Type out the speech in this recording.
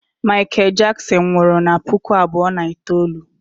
Michael Jackson nwụrụ na puku abụọ na itoolu